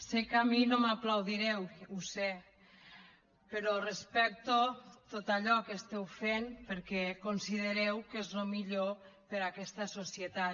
sé que a mi no m’aplaudireu ho sé però respecto tot allò que esteu fent perquè considereu que és el millor per a aquesta societat